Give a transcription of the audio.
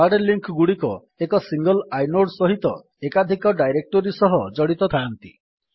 hard link ଗୁଡିକ ଏକ single inode ସହିତ ଏକାଧିକ ଡାଇରେକ୍ଟୋରୀ ସହିତ ଜଡିତ ଥାଆନ୍ତି